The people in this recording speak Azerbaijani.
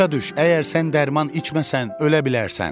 Başa düş, əgər sən dərman içməsən, ölə bilərsən.